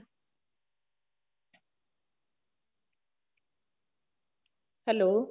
hello